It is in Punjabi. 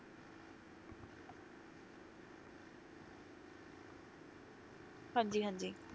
ਹਾਂਜੀ ਹਾਂਜੀ